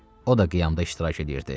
O da qiyamda iştirak edirdi.